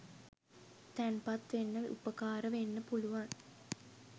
තැන්පත් වෙන්න උපකාර වෙන්න පුළුවන්.